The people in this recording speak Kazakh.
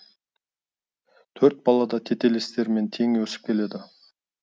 төрт бала да тетелестерімен тең өсіп келеді